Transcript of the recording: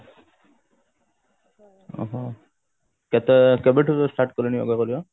ଉଁ ହୁଁ ତ କେବେଠୁ start କଲେଣି yoga କରିବା